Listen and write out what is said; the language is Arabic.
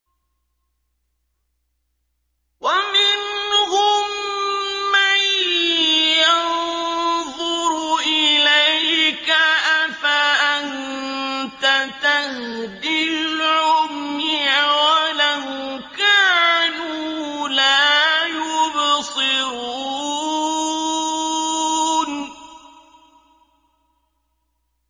وَمِنْهُم مَّن يَنظُرُ إِلَيْكَ ۚ أَفَأَنتَ تَهْدِي الْعُمْيَ وَلَوْ كَانُوا لَا يُبْصِرُونَ